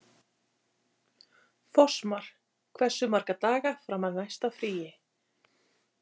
Fossmar, hversu marga daga fram að næsta fríi?